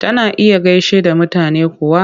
Tana iya gaishe da mutane kuwa?